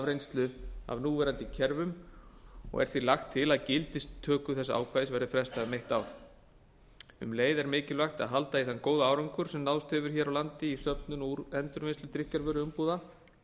reynslu af núverandi kerfum því er lagt til að gildistöku þessa ákvæðis verði frestað um eitt ár um leið er mikilvægt að halda í þann góða árangur sem náðst hefur hér á landi í söfnun og endurvinnslu drykkjarvöruumbúða